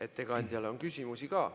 Ettekandjale on küsimusi ka.